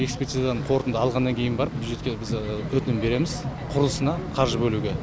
экспертизадан қорытынды алғаннан кейін барып бюджетке біз өтінім береміз құрылысына қаржы бөлуге